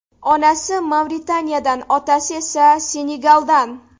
Onasi Mavritaniyadan, otasi esa Senegaldan.